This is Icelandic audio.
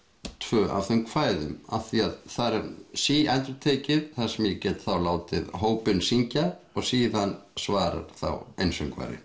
tvö af þeim kvæðum af því að þar er síendurtekið það sem ég get þá látið hópinn syngja og síðan svarar þá